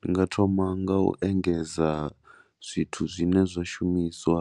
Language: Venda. Ndi nga thoma nga u engedza zwithu zwine zwa shumiswa